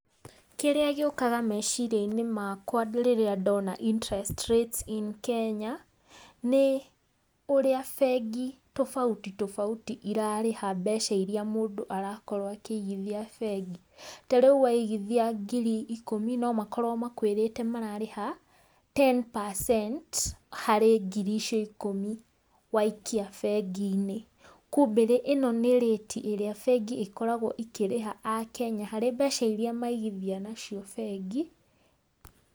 Kĩrĩa gĩũkaga meciria-inĩ makwa rĩrĩa ndona interest rates in Kenya, nĩ ũrĩa bengi tofauti tofauti irarĩha mbeca iria mũndũ arakorwo akĩigithia bengi, ta rĩu waigithia ngiri ikũmi no makorwo makwĩrĩte mararĩha ten percent harĩ ngiri icio ikũmi waikia bengi-inĩ, kumbĩ ĩno nĩ rate ĩrĩa bengi ikoragwo ikĩrĩha akenya harĩ mbeca iria maigithia nacio bengi.